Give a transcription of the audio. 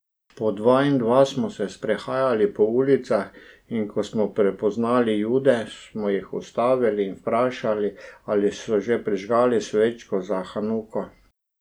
Po dva in dva smo se sprehajali po ulicah in ko smo prepoznali Jude, smo jih ustavili in vprašali, ali so že prižgali svečke za hanuko.